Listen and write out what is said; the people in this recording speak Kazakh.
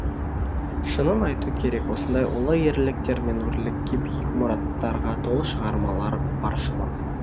шынын айту керек осындай ұлы ерліктер мен өрлікке биік мұраттарға толы шығармалар баршылық